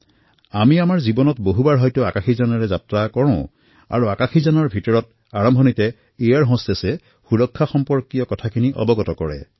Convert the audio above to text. আমাৰ নিজৰ জীৱনত দেখিছোঁ যে আমি হাজাৰ বাৰ উৰাজাহাজেৰে যাত্ৰা কৰোঁ আৰু উৰাজাহাজৰ ভিতৰত বিমান পৰিচাৰিকাই সুৰক্ষা সম্পৰ্কে সূচনা প্ৰদান কৰে